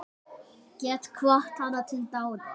Get hvatt hana til dáða.